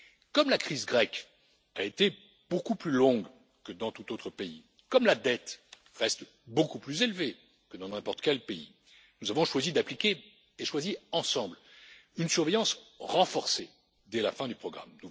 Comme la crise grecque a été beaucoup plus longue que dans tout autre pays, comme la dette reste beaucoup plus élevée que dans n'importe quel pays, nous avons choisi ensemble d'appliquer une surveillance renforcée dès la fin du programme.